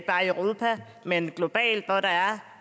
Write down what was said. bare i europa men globalt hvor der er